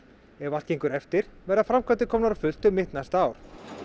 ef allt gengur eftir verða framkvæmdir komnar á fullt um mitt næsta ár